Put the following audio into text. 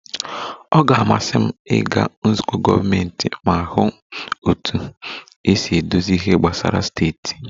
Ọ ga-amasị m ịga nzukọ gọọmentị ma hụ otú e si edozi ihe gbasara steeti